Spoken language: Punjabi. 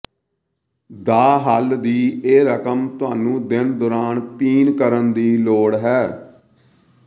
ਦਾ ਹੱਲ ਦੀ ਇਹ ਰਕਮ ਤੁਹਾਨੂੰ ਦਿਨ ਦੌਰਾਨ ਪੀਣ ਕਰਨ ਦੀ ਲੋੜ ਹੈ